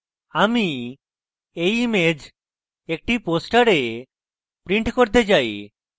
আমি এই image একটি poster print করতে চাই